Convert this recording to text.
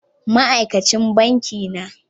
Ma aikacin banki na